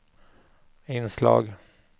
inslag